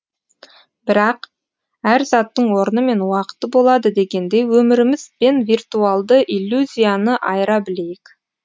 бірақ әр заттың орны мен уақыты болады дегендей өміріміз бен виртуалды иллюзияны айыра білейік